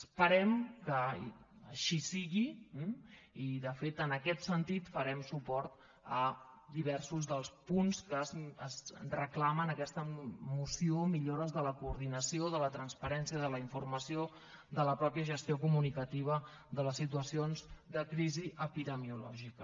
esperem que així sigui i de fet en aquest sentit farem suport a diversos dels punts que es reclamen en aquesta moció millo·res de la coordinació de la transparència de la infor·mació de la mateixa gestió comunicativa de les situa·cions de crisi epidemiològica